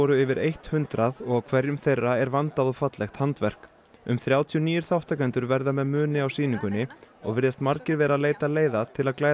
yfir eitt hundrað og á hverjum þeirra er vandað og fallegt handverk um þrjátíu nýir þáttakendur verða með muni á sýningunni og virðast margir vera að leita leiða til að glæða